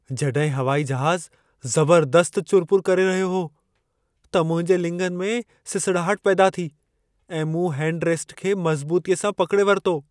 जॾहिं हवाई जहाज़ ज़बरदस्त चुरपुर करे रहियो हो, त मुंहिंजे लिङनि में सिसड़ाहट पैदा थी ऐं मूं हैंड रेस्ट खे मज़बूतीअ सां पकिड़े वरितो।